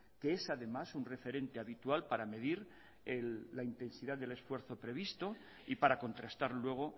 que es además un referente habitual para medir la intensidad del esfuerzo previsto y para contrastar luego